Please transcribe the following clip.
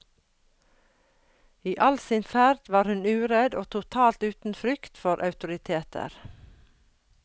I all sin ferd var hun uredd og totalt uten frykt for autoriteter.